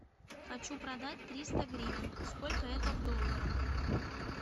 хочу продать триста гривен сколько это в долларах